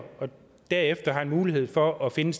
derefter har mulighed for at finde